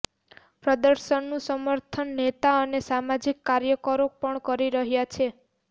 પ્રદર્શનનું સમર્થન નેતા અને સામાજિક કાર્યકરો પણ કરી રહ્યા છે